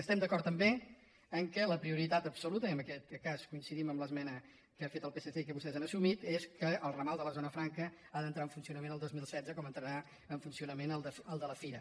estem d’acord també que la prioritat absoluta i en aquest cas coincidim amb l’esmena que ha fet el psc i que vostès han assumit és que el ramal de la zona franca ha d’entrar en funcionament el dos mil setze com entrarà en funcionament el de la fira